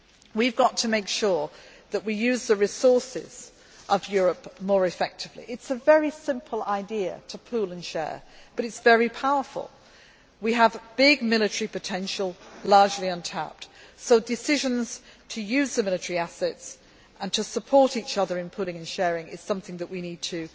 week. We have got to make sure that we use the resources of Europe more effectively. It is a very simple idea to pool and share, but it is very powerful. We have big military potential, largely untapped, so decisions to use military assets and to support each other in pooling and sharing are something that